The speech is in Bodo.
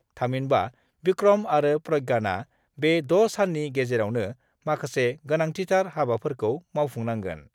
थामहिनबा भिक्रम आरो प्रज्ञानआ बे 6 साननि गेजेरावनो माखासे गोनांथिथार हाबाफोरखौ मावफुं नांगोन।